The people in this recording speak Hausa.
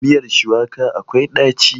Miyar shuwaka akwai ɗaci.